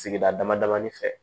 Sigida damadamanin fɛ